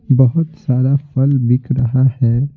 बहुत सारा फल बिक रहा है।